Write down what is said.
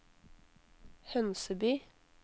Hønseby